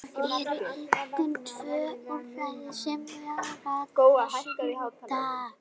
Steinbjörn, hver syngur þetta lag?